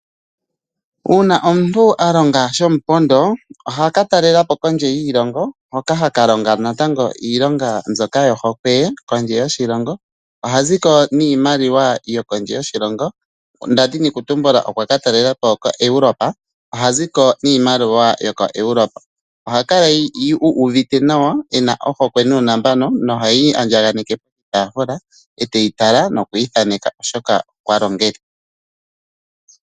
Uuna omuntu a longa shomupondo, oha ka talelapo kondje yiilongo. Hoka ha ka longa natango iilonga mbyoka yo hokwe ye kondje yoshilongo. Oha ziko niimaliwa yo kondje yoshilongo, ndadhini kutumbula okwa ka talelapo koEuropa, oha ziko niimaliwa yo koEuropa. Oha kala uuvite nawa ena ohokwe nuunambano. Ohe yi andjaneke poshitaafula ee te yi tala noku yi thaaneka oshoka okwa longele.